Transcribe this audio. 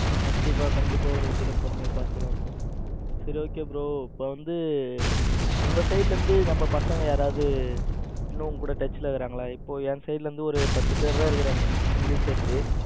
கண்டிப்பா கண்டிப்பா ஒரு வண்டியில போற மாதிரி பாத்துக்கலாம் bro. சரி okay bro bro இப்ப வந்து உங்க side ல இருந்து நம்ம பசங்க யாராவது இன்னும் உங்க கூட touch இருக்காங்களா? என் side ல இருந்து ஒரு பத்து பேர் தான் இருக்காங்க உங்களையும் சேர்த்து.